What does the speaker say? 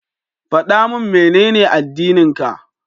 Faɗa min Menene addininka?